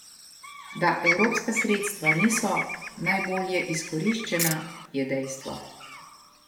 Da evropska sredstva niso najbolje izkoriščena je dejstvo.